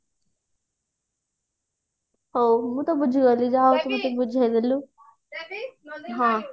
ହଉ ମୁଁ ତ ବୁଝିଗଲି ଯା ହଉ ତୁ ମତେ ବୁଝେଇଦେଲୁ